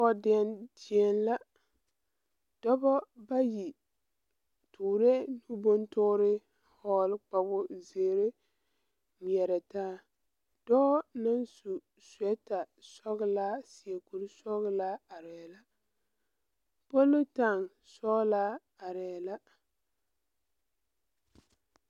Pɔɔdeɛn die la dɔbɔ bayi toorɛɛ bontoore vɔɔle kpawo zeere ngmɛɛrɛ taa dɔɔ naŋ su suwɛɛta sɔglaa seɛ kuresɔglaa areɛɛ la polutaŋ sɔglaa areɛɛ la.